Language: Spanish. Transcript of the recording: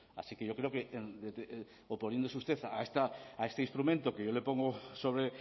así que yo creo que oponiéndose usted a este instrumento que yo le pongo sobre